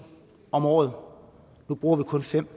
om året nu bruger vi kun fem